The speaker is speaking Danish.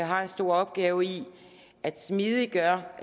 har en stor opgave i at smidiggøre